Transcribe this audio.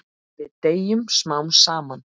Við deyjum smám saman.